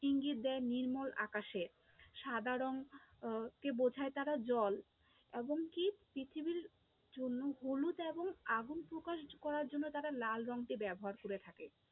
ইঙ্গিত দেয় নির্মল আকাশের, সাদা রঙ আহ কে বোঝায় তারা জল, এমনকি পৃথিবীর জন্য পূর্ণতা এবং আগুন প্রকাশ করার জন্য তারা লাল রঙকে ব্যবহার করে থাকে।